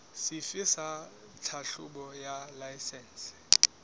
sefe sa tlhahlobo ya laesense